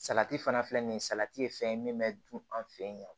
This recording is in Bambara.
Salati fana filɛ nin ye salati ye fɛn ye min bɛ dun an fɛ yen